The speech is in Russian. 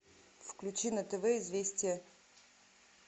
включи на тв известия